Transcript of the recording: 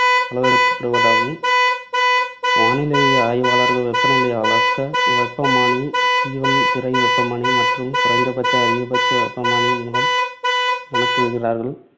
அளவிடப்படுதாகும். வானிலை ஆய்வாளர்கள் வெப்பநிலையை அளக்க வெப்பமானி, ஸ்டீவன்சன் திரை வெப்பமானி, மற்றும் குறைந்தபட்ச அதிகபட்ச வெப்பமானியின் மூலம் கணக்கிடுகிறார்கள்.